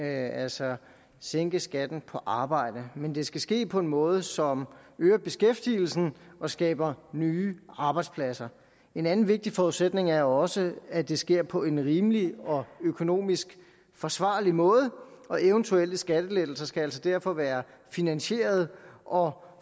altså at sænke skatten på arbejde men det skal ske på en måde som øger beskæftigelsen og skaber nye arbejdspladser en anden vigtig forudsætning er også at det sker på en rimelig og økonomisk forsvarlig måde og eventuelle skattelettelser skal altså derfor være finansierede og